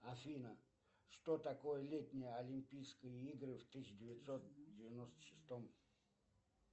афина что такое летние олимпийские игры в тысяча девятьсот девяносто шестом